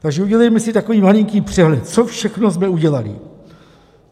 Takže udělejme si takový malinký přehled, co všechno jsme udělali.